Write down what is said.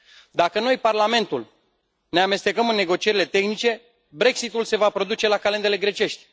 Dacă noi, Parlamentul, ne amestecăm în negocierile tehnice, Brexitul se va produce la calendele grecești.